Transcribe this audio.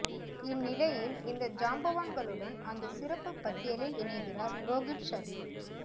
இந்நிலையில் இந்த ஜாம்பவான்களுடன் அந்த சிறப்பு பட்டியலில் இணைகிறார் ரோகித் சர்மா